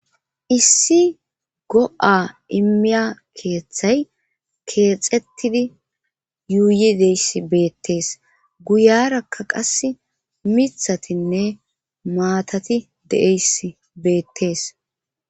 issi go7a immiya keeththay keexettidi yuuyi deyss beettees guyarakka qas mithatinne maatati de7eys beettees